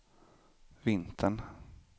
vintern